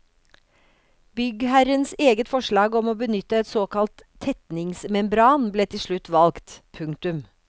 Byggherrens eget forslag om å benytte en såkalt tetningsmembran ble til slutt valgt. punktum